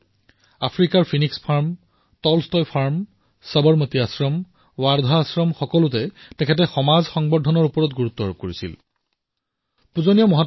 লাগিলে আফ্ৰিকাত ফিনিক্স ফাৰ্মেই হওক অথবা টলষ্টয় ফাৰ্ম সবৰমতী আশ্ৰমেই হওক অথবা ৱাৰ্ধা সকলো স্থানতে নিজৰ অনন্য সৈলীৰে সমাজ সংবৰ্ধন কমিউনিটী মবিলাইজেছনত সদায়েই তেওঁ গুৰুত্ব দিছিল